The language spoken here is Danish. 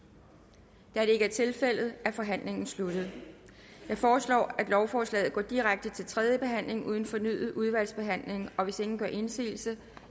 der er ikke er tilfældet er forhandlingen sluttet jeg foreslår at lovforslaget går direkte videre til tredje behandling uden fornyet udvalgsbehandling hvis ingen gør indsigelse